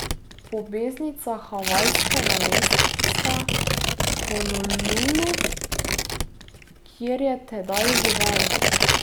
Po beznicah havajskega mesta Honolulu, kjer je tedaj živel.